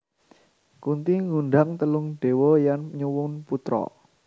Kunthi ngundang telung dewa lan nyuwun putra